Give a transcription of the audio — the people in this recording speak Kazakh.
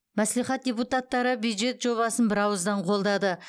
мәслихат депутаттары бюджет жобасын бірауыздан қолдады